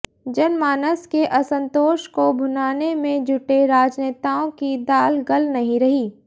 जनमानस के असंतोष को भुनाने में जुटे राजनेताओं की दाल गल नहीं रही